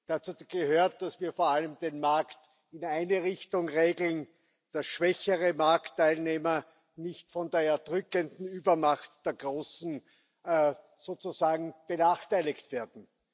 Dazu gehört, dass wir vor allem den Markt in eine Richtung regeln, damit schwächere Marktteilnehmer nicht von der erdrückenden Übermacht der großen benachteiligt werden.